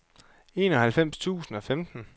enoghalvfems tusind og femten